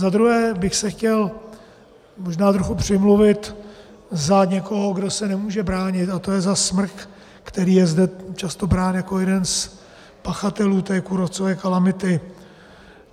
Za druhé bych se chtěl možná trochu přimluvit za někoho, kdo se nemůže bránit, a to je za smrk, který je zde často brán jako jeden z pachatelů té kůrovcové kalamity.